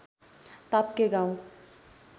ताप्के गाउँ